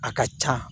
A ka ca